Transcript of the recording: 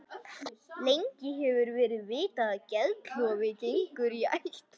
Lengi hefur verið vitað að geðklofi gengur í ættir.